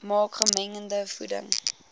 maak gemengde voeding